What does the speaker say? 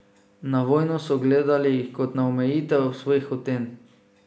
Na vojno so gledali kot na omejitev svojih hotenj.